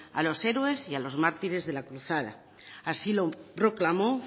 a los héroes y a los mártires de la cruzada así lo proclamó